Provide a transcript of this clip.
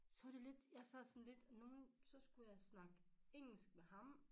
Så var det lidt jeg sad sådan lidt nogen så skulle jeg snakke engelsk med ham